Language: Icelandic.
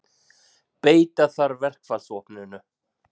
Beita þarf verkfallsvopninu